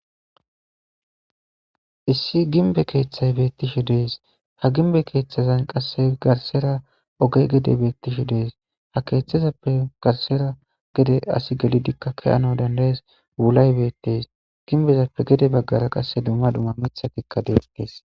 Issi gimbe kethay betishe de'es ha gimbe kethazan qase garsera oge gede betishe de'es ha ketazape garsera gede asi gelidika ke'anawu danda'es wulay betes gimbezappe gede bagara qase duma duma mithatika de'etes.